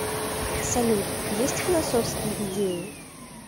салют есть философские идеи